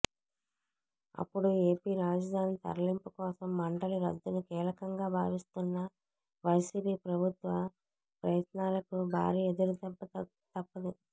అప్పుడు ఏపీ రాజధాని తరలింపు కోసం మండలి రద్దును కీలకంగా భావిస్తున్న వైసీపీ ప్రభుత్వ ప్రయత్నాలకు భారీ ఎదురుదెబ్బ తప్పదు